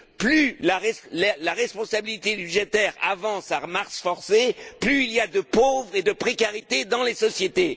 Plus la responsabilité budgétaire avance à marche forcée, plus il y a de pauvres et de précarité dans les sociétés.